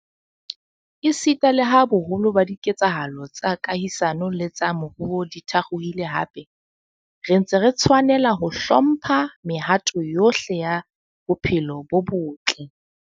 Esita leha boholo ba dike tsahalo tsa kahisano le tsa moruo di thakgohile hape, re ntse re tshwanela ho hlo mpha mehato yohle ya bophelo bo botle.